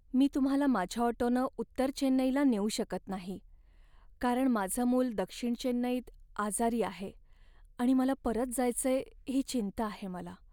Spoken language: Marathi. मी तुम्हाला माझ्या ऑटोनं उत्तर चेन्नईला नेऊ शकत नाही, कारण माझं मूल दक्षिण चेन्नईत आजारी आहे आणि मला परत जायचंय ही चिंता आहे मला.